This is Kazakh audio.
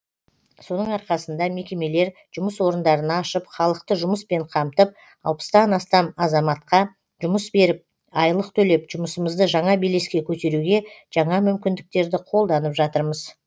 соның арқасында мекемелер жұмыс орындарын ашып халықты жұмыспен қамтып алпыстан астам азаматқа жұмыс беріп айлық төлеп жұмысымызды жаңа белеске көтеруге жаңа мүмкіндіктерді қолданып жатырмыз